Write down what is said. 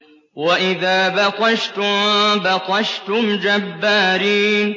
وَإِذَا بَطَشْتُم بَطَشْتُمْ جَبَّارِينَ